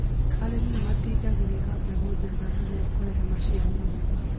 Arĩmi nĩ matindagĩrĩra mbegũ njega niguo kũrehe maciaro mega